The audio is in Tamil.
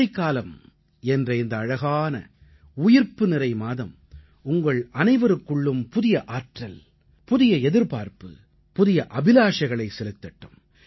மாரிக்காலம் என்ற இந்த அழகான உயிர்ப்புநிறை மாதம் உங்கள் அனைவருக்குள்ளும் புதிய ஆற்றல் புதிய எதிர்பார்ப்பு புதிய அபிலாஷைகளைச் செலுத்தட்டும்